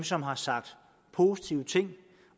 som har sagt positive ting